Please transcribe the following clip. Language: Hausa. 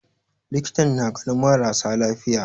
Likitan na ganin mara sa lafiya.